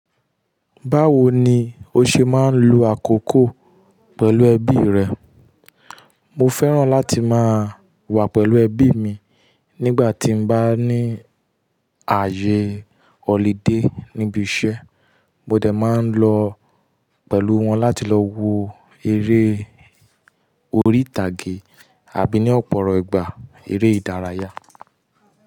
Báwo ni o ṣe máa ń lu àkókò pẹ̀lú ẹbí rẹ? Mo fẹ́ràn láti máa wà pẹ̀lú ẹbí mi nígbà tí mo bá ní ààyè holiday níbi iṣẹ́. Mo dẹ̀ máa ń lọ pẹ̀lú wọn láti lọ wo eré orí ìtàgé àbí ní ọ̀pọ̀rọ̀ ìgbà eré ìdárayá.